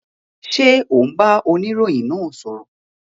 Ṣé o n bá oniroyin náà sọ̀rọ̀?